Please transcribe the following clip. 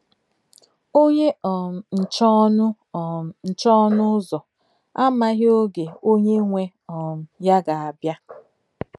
Ọ̀nyé um nche ònụ̀ um nche ònụ̀ ụ́zọ̀ àmàghị ògé ònyé nwé um ya gà-abịa.